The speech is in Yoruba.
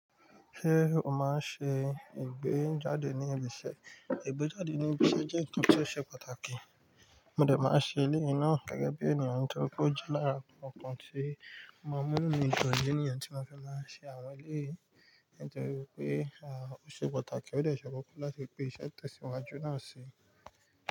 Ṣé o máa ń ṣe ìgbéjáde ní ibi iṣẹ́? Ìgbéjáde ní ibi iṣẹ́ jẹ́ nkan tó ṣe pàtàkì. Ó dẹ máa ṣe ilé náà gẹ́gẹ́ bí ènìyàn tó kójọ́lára, ọ̀kan tí ó mọ̀ mọ́ mú inú mi dùn, ìdí nìyẹn tí mo fẹ́ máa ṣe àwọn eléyìí, nítorí pé a, ó ṣe pàtàkì. Ó dẹ ṣe kókó láti pé iṣẹ́ ìtẹ̀síwájú náà ṣi.